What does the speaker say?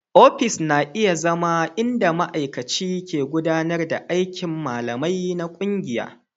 Ofis na iya zama inda ma'aikaci ke gudanar da aikin malamai na ƙungiya.